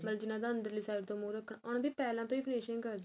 ਮਤਲਬ ਜਿਹਨਾ ਦਾ ਅੰਦਰਲਈ side ਤੋਂ ਮੁਹ ਰਖਣਾ ਉਹਨਾ ਦੀ ਪਹਿਲਾਂ ਤੋਂ ਹੀ finishing ਕਰਦੇ ਆ